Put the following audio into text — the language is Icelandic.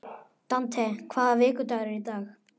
Dante, hvaða vikudagur er í dag?